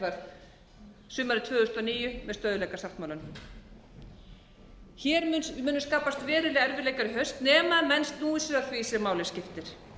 gert var sumarið tvö þúsund og níu með stöðugleikasáttmálanum hér munu skapast verulegir erfiðleikar í haust nema menn snúi sér að því sem máli skiptir